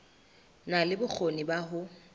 na le bokgoni ba ho